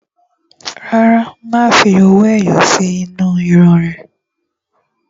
Rárá, má fi owó ẹyọ sí inú irun ún rẹ